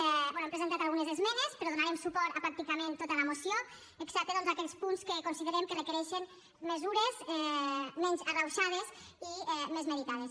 bé hem presentat algunes esmenes però donarem suport a pràcticament tota la moció excepte doncs en aquells punts que considerem que requereixen mesures menys arrauxades i més meditades